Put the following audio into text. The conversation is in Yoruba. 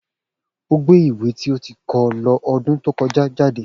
O gbe ìwé ti o ti kọ lo ọdun to kọja jade.